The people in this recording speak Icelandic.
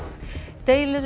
deilur um